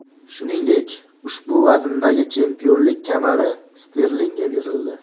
Shuningdek, ushbu vazndagi chempionlik kamari Sterlingga berildi.